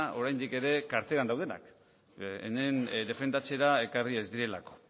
oraindik ere karteran daudenak hemen defendatzera ekarri ez direlako